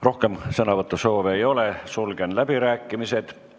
Rohkem sõnavõtusoove ei ole, sulgen läbirääkimised.